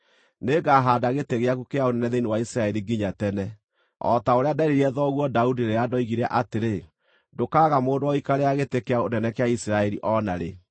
Nĩngahaanda gĩtĩ gĩaku kĩa ũnene thĩinĩ wa Isiraeli nginya tene, o ta ũrĩa nderĩire thoguo Daudi rĩrĩa ndoigire atĩrĩ, ‘Ndũkaaga mũndũ wa gũikarĩra gĩtĩ kĩa ũnene kĩa Isiraeli o naarĩ.’